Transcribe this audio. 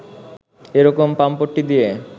এরকম পামপট্টি দিয়ে